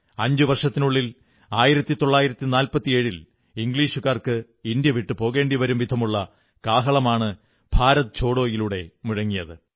5 വർഷത്തിനുള്ളിൽ 1947ൽ ഇംഗ്ലീഷുകാർക്കു ഇന്ത്യവിട്ടുപോകേണ്ടി വരും വിധമുള്ള കാഹളമാണ് ഭാരത് ഛോഡോയിലൂടെ മുഴങ്ങിയത്